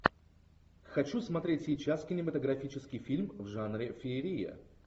хочу смотреть сейчас кинематографический фильм в жанре феерия